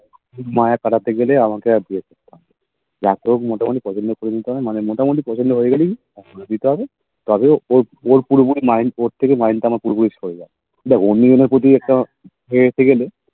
মায়া কাটাতে গেলে আমাকে আর বিয়ে করতে হবেনা রাতেও আর মোটামুটিপছন্দ করতে হয় মানে মোটামুটি পছন্দ হয়ে গেলেই করে নিতে হবেওর পুরোপুরি Mind উপর থেকে পুরোপুরি উপর থেকে Mind আমার পুরোপুরি সরে যায় অন্য জনের প্রতি হয়ে গেলে একটা